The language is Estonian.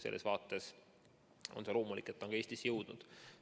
Selles vaates on loomulik, et see on ka Eestisse jõudnud.